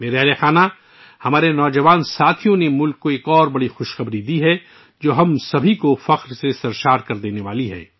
میرے پریوار جنو ، ہمارے نوجوان ساتھیوں نے ملک کو ایک اور اہم خوشخبری سنائی ہے، جس سے ہم سب کا سر فخر سے بلند ہو جائے گا